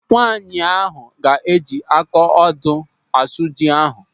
Nwaanyị ahụ ga-eji aka odo asụ ji ahụ.